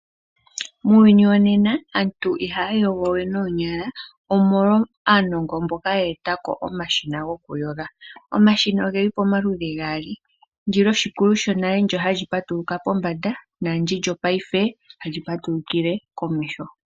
Muuyuni wonena aantu ihaya yogo we noonyala omolwa aanongo mboka ya etako omashina gokuyoga. Omashina ogeli pamaludhi gaali , ndilyoshikulu shonale hali patuluka pombanda naandi lyopaife hali patulukile komeho.